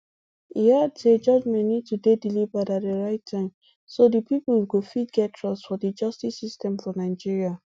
e add say judgement need to dey delivered at di right time so di pipo go fit get trust fot di justice system for nigeria